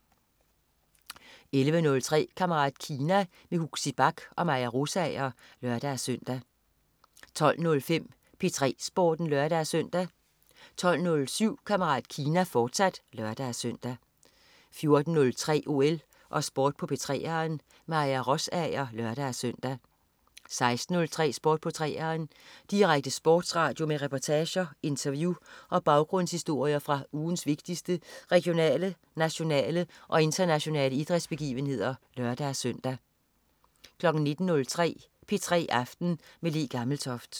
11.03 Kammerat Kina. Huxi Bach og Maja Rosager (lør-søn) 12.05 P3 Sporten (lør-søn) 12.07 Kammerat Kina, fortsat (lør-søn) 14.03 OL og Sport på 3'eren. Maja Rosager (lør-søn) 16.03 Sport på 3'eren. Direkte sportsradio med reportager, interview og baggrundshistorier fra ugens vigtigste regionale, nationale og internationale idrætsbegivenheder (lør-søn) 19.03 P3 aften med Le Gammeltoft